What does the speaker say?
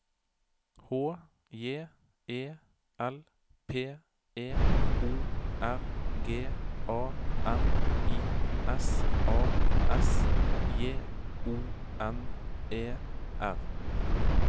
H J E L P E O R G A N I S A S J O N E R